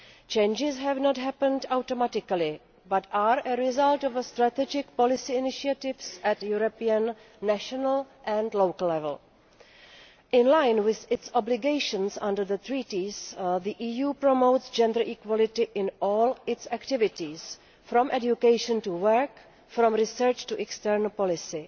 Changes have not happened automatically, but are a result of strategic policy initiatives at European, national and local levels. In line with its obligations under the Treaties, the EU promotes gender equality in all its activities, from education to work, and from research to external policy.